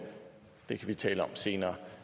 det kan vi tale om senere